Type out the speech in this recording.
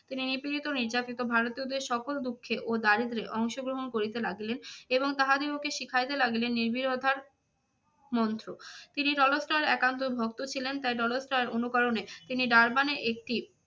তিনি নিপীড়িত নির্যাতিত ভারতীয়দের সকল দুঃখে ও দারিদ্রে অংশগ্রহণ করিতে লাগিলেন। এবং তাহাদিগকে শিখাইতে লাগিলেন নির্বিরোধার মন্ত্র। তিনি টলস্টয়ের একান্ত ভক্ত ছিলেন তাই টলস্টয়ের অনুকরণে তিনি ডারবানে একটি